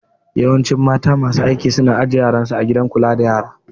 Yawancin mata masu aiki su na aje yaran su a gidan kula da yara